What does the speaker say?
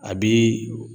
A bi